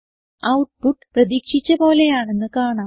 output പ്രതീക്ഷിച്ച പോലെയാണെന്ന് കാണാം